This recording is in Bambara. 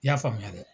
I y'a faamuya dɛ